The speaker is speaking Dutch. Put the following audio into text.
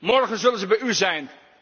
bij ons. Morgen zullen ze bij